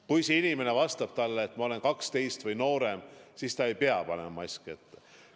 Kui see inimene vastab talle, et ma olen 12 või noorem, siis ta ei pea panema maski ette.